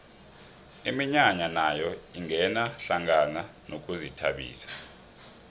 iminyanya nayo ingena hlangana nokuzithabisa